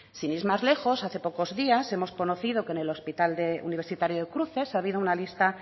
sin ir más lejos hace poco días hemos conocido que en el hospital universitario de cruces ha habido una lista